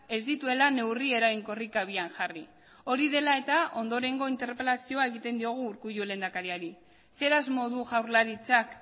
ez dituela neurri eraginkorrik abian jarri hori dela eta ondorengo interpelazioa egiten diogu urkullu lehendakariari zer asmo du jaurlaritzak